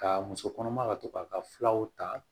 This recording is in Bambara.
Ka muso kɔnɔma ka to k'a ka fulaw ta